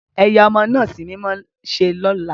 Eyà ọmọ naa símímọ ṣe lola!